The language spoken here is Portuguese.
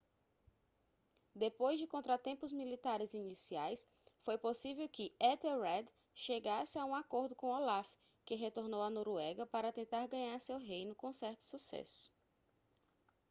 depois de contratempos militares iniciais foi possível que ethelred chegasse a um acordo com olaf que retornou à noruega para tentar ganhar seu reino com certo sucesso